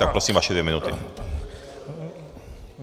Tak prosím, vaše dvě minuty.